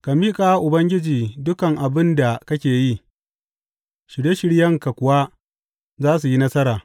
Ka miƙa wa Ubangiji dukan abin da kake yi, shirye shiryenka kuwa za su yi nasara.